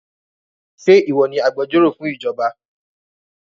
Ṣe ìwọ ni agbẹjọ́rò fún ìjọba?